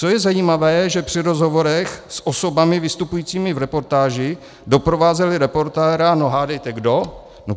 Co je zajímavé, že při rozhovorech s osobami vystupujícími v reportáži doprovázeli reportéra, no hádejte kdo?